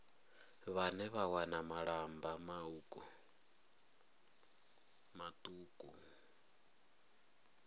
vhane vha wana malamba mauku